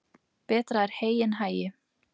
Betra er hey en hagi.